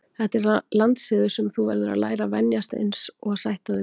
Þetta er landssiður sem þú verður að læra að venjast og sætta þig við.